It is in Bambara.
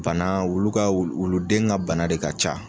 Bana wulu ka wuluden ka bana de ka ca.